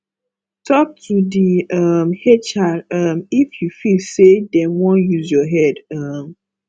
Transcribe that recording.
talk to di um hr um if you feel sey dem wan use your head um